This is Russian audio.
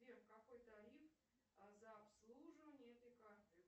сбер какой тариф за обслуживание этой карты